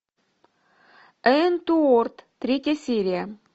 уэнтуорт третья серия